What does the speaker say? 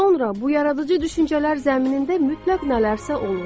Sonra bu yaradıcı düşüncələr zəminində mütləq nələrsə olur.